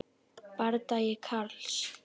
Bardagi Karls